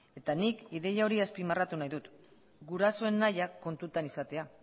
eta nik ideia hori azpimarratu nahi dut gurasoen nahia kontutan izatea